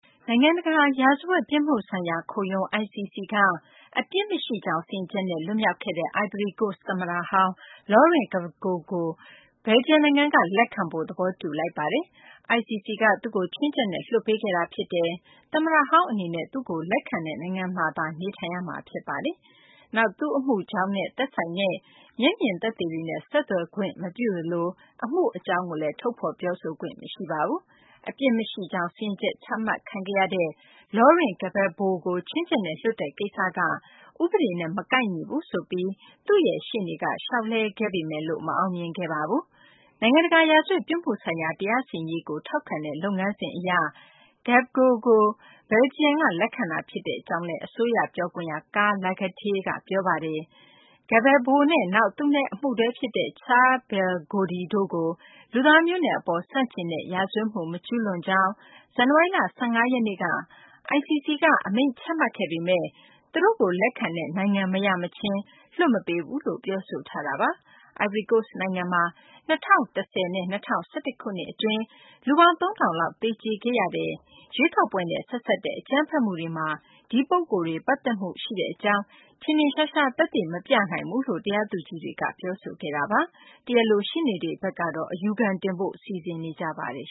နိုင်ငံတကာ ရာဇဝတ်ပြစ်မှုဆိုင်ရာ ခုံရုံး ICC ကနေ အပြစ်မရှိကြောင်း စီရင်ချက်နဲ့ လွတ်မြောက်ခဲ့တဲ့ အိုင်ဗရီကိုစ့် သမ္မတဟောင်း Laurent Gbagbo ကို ဘယ်လ်ဂျီယံနိုင်ငံက လက်ခံဖို့ သဘောတူလိုက်ပါတယ်။ ICC က သူ့ကို ခြွင်းချက်နဲ့ လွှတ်ပေးခဲ့တာ ဖြစ်ပါတယ်။ သမ္မတဟောင်းအနေနဲ့ သူ့ကို လက်ခံတဲ့နိုင်ငံမှာသာ နေထိုင်ရမှာ ဖြစ်ပါတယ်။ နောက် သူ့အမှုကြောင်းနဲ့ဆိုင်တဲ့ မျက်မြင်သက်သေတွေနဲ့ ဆက်သွယ်ခွင့် မပြုသလို သူ့အမှုအကြောင်းကိုလည်း ထုတ်ဖော် ပြောဆိုခွင့်မရှိပါဘူး။ အပြစ်မရှိကြောင်း စီရင်ချက်ချမှတ်ခံရတဲ့ Laurent Gbagbo ကို ခြွင်းချက်နဲ့လွှတ်တဲ့ ကိစ္စက ဥပဒေနဲ့ မကိုက်ညီဘူးဆိုပြီး Gbagbo ရဲ့ ရှေ့နေ Emmanuel Altit က လျှောက်လဲခဲ့ပေမယ်လို့ မအောင်မြင်ခဲ့ပါဘူး။ နိုင်ငံတကာ ရာဇဝတ် ပြစ်မှုဆိုင်ရာ တရားစီရင်ရေးကို ထောက်ခံတဲ့လုပ်ငန်းစဉ်အရ Gbagbo ကို ဘယ်လ်ဂျီယံ က လက်ခံတာ ဖြစ်ကြောင်း အစိုးရ ပြောခွင့်ရ Karl Lagatie က ပြောပါတယ်။ Gbagbo နဲ့ နောက် သူနဲ့ အမှုတွဲ ဖြစ်တဲ့ Charls Ble Goude တို့ကို လူသားမျိုးနွယ်အပေါ် ဆန့်ကျင်တဲ့ ရာဇဝတ်မှု မကျူးလွန်ကြောင်း ဇန်နဝါရီလ ၁၅ ရက်နေ့က ICC က အမိန့်ချမှတ်ခဲ့ပေမယ့် သူတို့ကို လက်ခံတဲ့ နိုင်ငံမရမချင်း လွှတ်မပေးဘူးလို့ ပြောဆိုခဲ့တာပါ။ အိုင်ဗရီကိုစ့် နိုင်ငံမှာ ၂ဝ၁ဝ နဲ့ ၂ဝ၁၁ ခုနှစ်က လူပေါင်း ၃ ထောင်လောက် သေကြေခဲ့ရတဲ့ ရွေးကောက်ပွဲနဲ့ ဆက်စပ်တဲ့ အကြမ်းဖက်မှုတွေမှာ ဒီပုဂ္ဂိုလ်တွေ ပတ်သက်မှုရှိကြောင်း ထင်ထင်ရှားရှား သက်သေမပြနိုင်ဘူးလို့ တရားသူကြီးတွေက ပြောပါတယ်။ ရှေ့နေတွေဘက်ကတော့ အယူခံတင်ဖို့ စီစဉ်နေကြပါတယ်